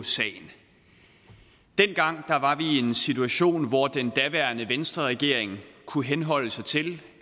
sagen dengang var vi i en situation hvor den daværende venstreregering kunne henholde sig til